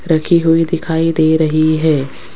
रखी हुई दिखाई दे रही है।